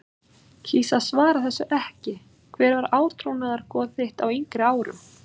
kýs að svara þessu ekki Hver var átrúnaðargoð þitt á yngri árum?